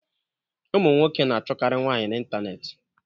Ụmụ nwoke na achụkari nwaanyị na ịntanetị.